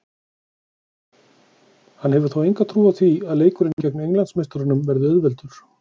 Hann hefur þó enga trú á því leikurinn gegn englandsmeisturunum verði auðveldur.